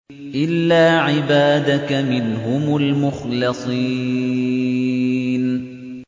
إِلَّا عِبَادَكَ مِنْهُمُ الْمُخْلَصِينَ